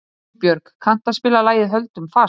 Unnbjörg, kanntu að spila lagið „Höldum fast“?